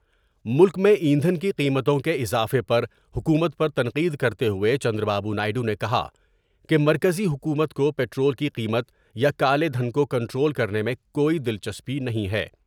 ملک میں ایندھن کی قیمتوں اضافے پر حکومت پر تنقید کرتے ہوۓ چندر بابو نائیڈو نے کہا کہ مرکزی حکومت کو پٹرول کی قیمت یا کالے دھن کو کنٹرول کرنے میں کوئی دلچسپی نہیں ہے ۔